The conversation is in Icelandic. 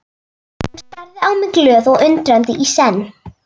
Hún starði á mig glöð og undrandi í senn.